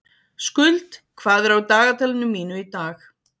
Skuld, hvað er á dagatalinu mínu í dag?